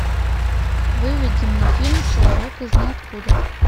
выведи мне фильм человек из ниоткуда